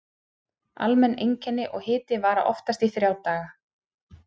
Almenn einkenni og hiti vara oftast í þrjá daga.